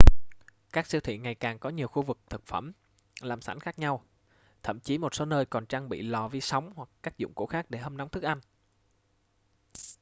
các siêu thị ngày càng có nhiều khu vực thực phẩm làm sẵn khác nhau thậm chí một số nơi còn trang bị lò vi sóng hoặc các dụng cụ khác để hâm nóng thức ăn